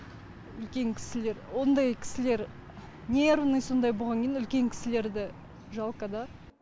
үлкен кісілер ондай кісілер нервный сондай болғаннан кейін үлкен кісілерді жалко да